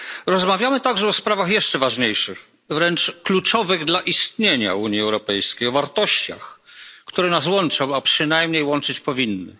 Rozmawiamy także o sprawach jeszcze ważniejszych, wręcz kluczowych dla istnienia Unii Europejskiej o wartościach, które nas łączą, a przynajmniej łączyć powinny.